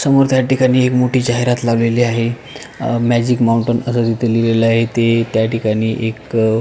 समोर त्या ठिकाणी एक मोठी जाहिरात लावलेली आहे अ मॅजिक माउंटन असं त्या ठिकाणी लिहिलेल आहे ते त्या ठिकाणी एक--